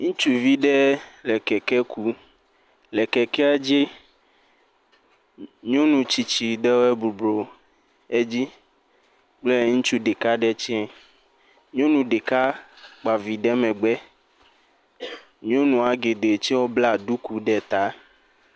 Ŋutsuvi ɖe le kee kum, le kekeɛ dzi. Nyɔnu tsitsi ɖewoɛ boblɔ edzi kple ŋutsu ɖeka ɖe tsɛ. Nyɔnu ɖeka kpa vi ɖe megbe. Nyɔnua geɖee tsɛ blaa ɖuku ɖe taa.